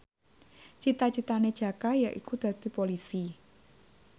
cita citane Jaka yaiku dadi Polisi